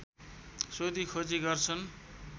सोधीखोजी गर्छन्